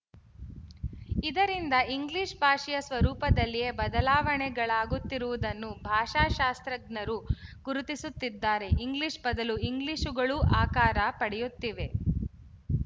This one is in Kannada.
ಇದರಿಂದ ಇಂಗ್ಲಿಶ ಭಾಷೆಯ ಸ್ವರೂಪದಲ್ಲೇ ಬದಲಾವಣೆಗಳಾಗುತ್ತಿರುವುದನ್ನು ಭಾಷಾ ಶಾಸ್ತ್ರಜ್ಞರು ಗುರುತಿಸುತ್ತಿದ್ದಾರೆ ಇಂಗ್ಲಿಶ ಬದಲು ಇಂಗ್ಲಿಶ‍ಗಳು ಆಕಾರ ಪಡೆಯುತ್ತಿವೆ